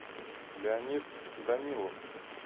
леонид данилов